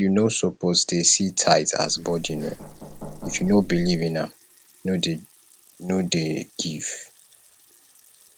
you no suppose dey see tithe as burden oo if you no believe in am no dey no dey give